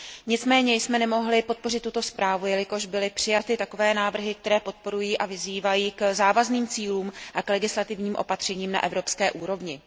Nicméně jsme nemohli podpořit tuto zprávu, jelikož byly přijaty takové návrhy, které podporují a vyzývají k závazným cílům a k legislativním opatřením na evropské úrovni.